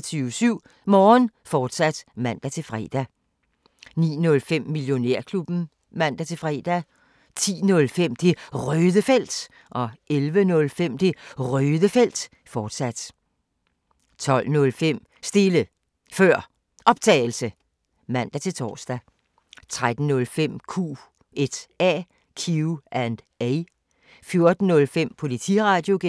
24syv Morgen, fortsat (man-fre) 08:05: 24syv Morgen, fortsat (man-fre) 09:05: Millionærklubben (man-fre) 10:05: Det Røde Felt 11:05: Det Røde Felt, fortsat 12:05: Stille Før Optagelse (man-tor) 13:05: Q&A 14:05: Politiradio (G)